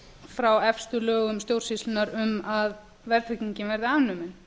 frá efstu lögum stjórnsýslunnar um að verðtryggingin verði afnumin